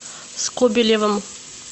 скобелевым